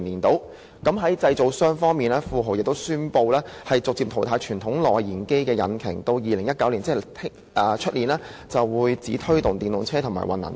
在製造商方面，富豪汽車亦宣布會逐步淘汰傳統內燃機引擎，直至2019年，即是明年便只會推動電動車和混能車。